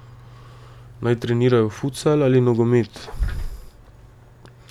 Naj trenirajo futsal ali nogomet?